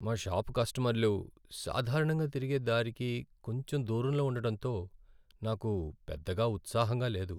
మా షాపు కస్టమర్లు సాధారణంగా తిరిగే దారికి కొంచెం దూరంలో ఉండడంతో నాకు పెద్దగా ఉత్సాహంగా లేదు.